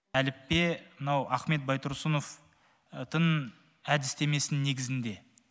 әліппе мынау ахмет байтұрсыновтың әдістемесі негізінде